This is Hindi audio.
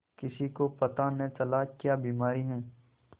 किसी को पता न चला क्या बीमारी है